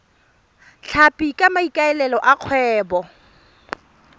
tlhapi ka maikaelelo a kgwebo